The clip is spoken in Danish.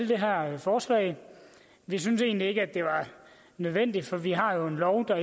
det her forslag vi syntes egentlig ikke det var nødvendigt for vi har jo en lov der